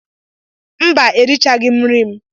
Mba, erichaghị m nri m.